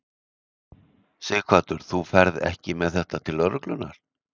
Sighvatur: Þú ferð ekki með þetta til lögreglunnar?